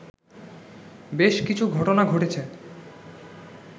বেশ কিছু ঘটনা ঘটেছে